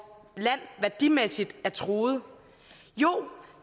land værdimæssigt er truet jo